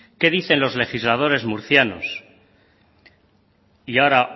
qué dicen los legisladores murcianos y ahora